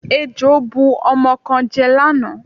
Ejò bu ọmọ kan jẹ lánàá.